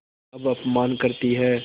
अब अपमान करतीं हैं